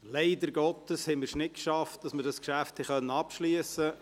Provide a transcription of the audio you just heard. Leider Gottes haben wir es nicht geschafft, das Geschäft abzuschliessen.